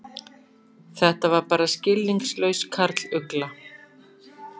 Þetta var bara skilningslaus karlugla.